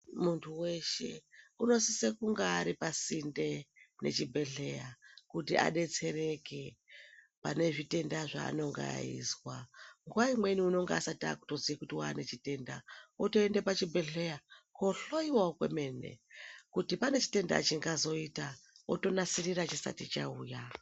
Munhu weshe unosise kunge ari pasinde nechibhehlera kuti adetsereke pane zvitenda zvaanenge eizwa. Nguwa imweni unenge asati akutoziya kuti waane chitenda, otoenda pachibhehlera, kohloyiwawo kwemene ,kuti pane chitenda chingazoita otonasirira chisati chauya.